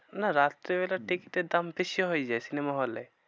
না রাত্রিবেলায় দিকটা দাম বেশি হয় যায় cinema hall এ?